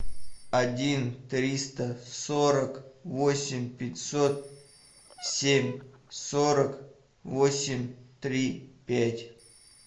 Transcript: один триста сорок восемь пятьсот семь сорок восемь три пять